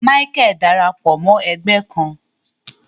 Micheal darapọ Mọ ẹgbẹ kàn